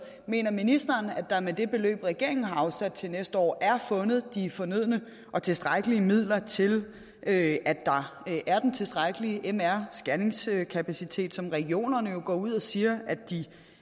mener ministeren at der med det beløb regeringen har afsat til næste år er fundet de fornødne og tilstrækkelige midler til at der er den tilstrækkelige mr scanningskapacitet som regionerne jo går ud og siger at de